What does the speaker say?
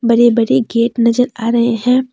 बड़े बड़े गेट नजर आ रहे हैं।